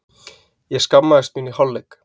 Ég skammaðist mín í hálfleik.